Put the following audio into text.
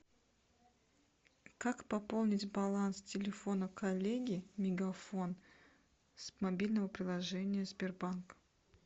как пополнить баланс телефона коллеги мегафон с мобильного приложения сбербанк